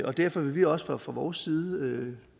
og derfor vil vi også fra vores side